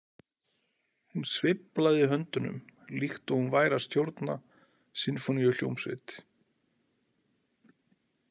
Hún sveiflaði höndunum líkt og hún væri að stjórna sinfóníuhljómsveit.